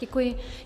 Děkuji.